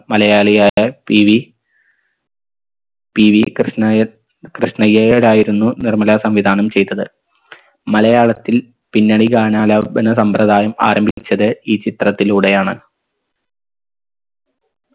മലയാളിയായ PV PV കൃഷ്ണായർ കൃഷ്ണയ്യയായിരുന്നു നിർമ്മല സംവിധാനം ചെയ്തത് മലയാളത്തിൽ പിന്നണി ഗാനാലാപന സമ്പ്രദായം ആരംഭിച്ചത് ഈ ചിത്രത്തിലൂടെയാണ്